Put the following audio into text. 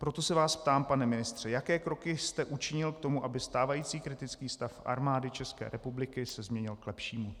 Proto se vás ptám, pane ministře, jaké kroky jste učinil k tomu, aby stávající kriticky stav Armády České republiky se změnil k lepšímu.